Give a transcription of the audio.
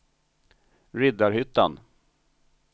Riddarhyttan